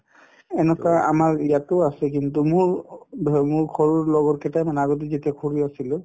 এনেকুৱা আমাৰ ইয়াতো আছে কিন্তু মোৰ মোক সৰুৰ লগৰ কেইটামান আগতে যেতিয়া সৰু আছিলো